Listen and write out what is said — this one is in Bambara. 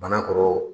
Bana kɔrɔ